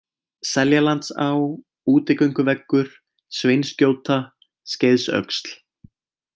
Seljalandsá, Útigönguveggur, Sveinsgjóta, Skeiðsöxl